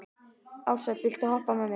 Ársæll, viltu hoppa með mér?